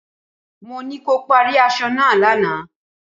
Mo ní kí o parí aṣọ náà lánàá.